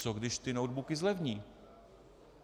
Co když ty notebooky zlevní?